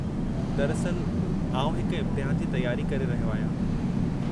दरअस्ल आउं हिक इम्तिहान जी तयारी करे रहियो आहियां।